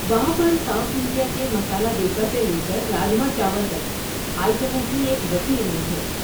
وہاں پر South India کے مسالا دوسا سے لے کر راجما چاول تک آئٹموں کی ایک وسیع رینج ہے۔